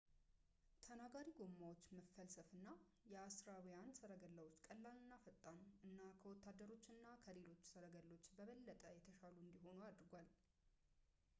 ተናጋሪ ጎማዎች መፈልሰፍ የአሦራውያን ሠረገላዎችን ቀላል እና ፈጣን እና ከወታደሮች እና ከሌሎች ሰረገሎች በበለጠ የተሻሉ እንዲሆኑ አድርጓል